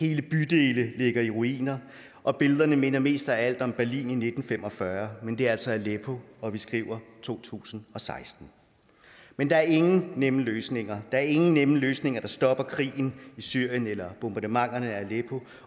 hele bydele ligger i ruiner og billederne minder mest af alt om berlin i nitten fem og fyrre men det er altså aleppo og vi skriver to tusind og seksten men der er ingen nemme løsninger der er ingen nemme løsninger der stopper krigen i syrien eller bombardementerne af aleppo